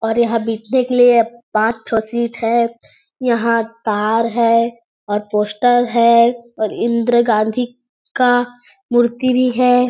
और यहाँ भी देख लिए पाँच ठो सीट है यहाँ कार है और पोस्टर है और इंदिरा गांधी का मूर्ति भी हैं।